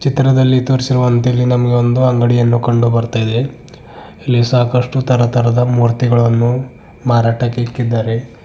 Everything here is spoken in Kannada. ಚಿತ್ರದಲ್ಲಿ ತೋರಿಸಿರುವಂತೆ ನಮಗೆ ಒಂದು ಅಂಗಡಿಯನ್ನು ಕಂಡುಬರ್ತಾ ಇದೆ ಇಲ್ಲಿ ಸಾಕಷ್ಟು ತರ ತರದ ಮೂರ್ತಿಗಳನ್ನು ಮಾರಾಟಕ್ಕೆ ಇಕ್ಕಿದಾರೆ.